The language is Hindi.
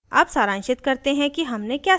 अब सारांशित करते हैं कि हमने क्या सीखा